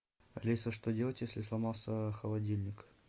алиса что делать если сломался холодильник